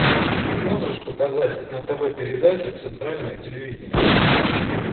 ты можешь показать на тв передачу центральное телевидение